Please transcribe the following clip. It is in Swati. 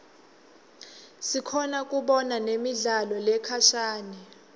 sikhona kubona nemidlalo lekhashane